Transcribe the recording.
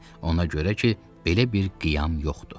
Ona görə ki, belə bir qiyam yoxdur.